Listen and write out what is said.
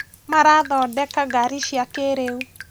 Marathondeka ngari cia kĩrĩu